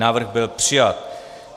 Návrh byl přijat.